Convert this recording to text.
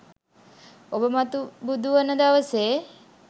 ඔබ මතු බුදු වන දවසේ